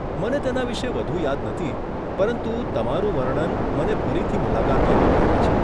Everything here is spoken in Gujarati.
મને તેના વિશે વધુ યાદ નથી, પરંતુ તમારું વર્ણન મને ફરીથી મુલાકાત લેવા પ્રેરે છે.